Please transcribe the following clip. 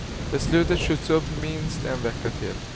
Beslutet skjuts upp minst en vecka till.